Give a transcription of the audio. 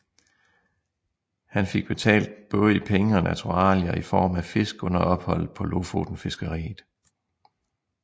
Han fik betalt både i penge og naturalier i form af fisk under opholdet på lofotenfiskeriet